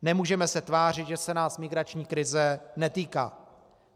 Nemůžeme se tvářit, že se nás migrační krize netýká.